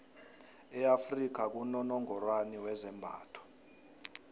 e afrika kunonongorwani wezembatho